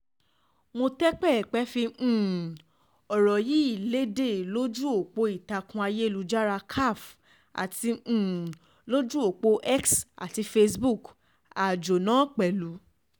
mòtẹpẹpẹ fi um ọ̀rọ̀ yìí lédè lójú ọ̀pọ̀ ìtàkùn ayélujára caf àti um lójú ọ̀pọ̀ x àti facebook àjọ náà pẹ̀lú